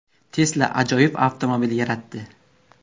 Tesla ajoyib avtomobil yaratdi.